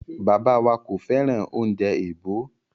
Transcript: Bàbá wa kò fẹ́ràn oúnjẹ èèbó.